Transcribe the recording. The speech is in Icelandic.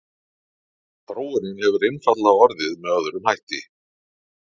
þróunin hefur einfaldlega orðið með öðrum hætti